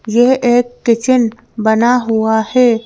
यह एक किचन बना हुआ है।